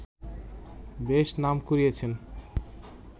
বেশ নাম কুড়িয়েছেন